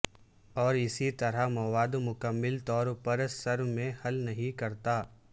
اور اسی طرح مواد مکمل طور پر سر میں حل نہیں کرتا ہے